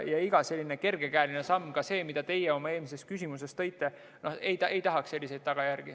Iga kergekäeline samm – ka see, mida teie oma eelmises küsimuses näiteks tõite – võib tuua tõsiseid tagajärgi.